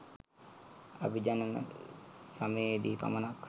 අභිජනන සමයේදී පමණක්